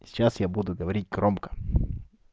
сейчас я буду говорить громко